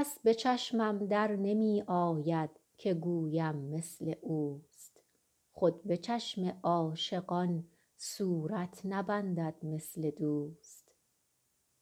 کس به چشمم در نمی آید که گویم مثل اوست خود به چشم عاشقان صورت نبندد مثل دوست